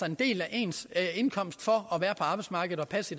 en del af ens indkomst for at være på arbejdsmarkedet og passe